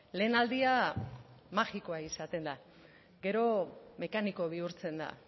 lehen aldia magikoa izaten da gero mekaniko bihurtzen da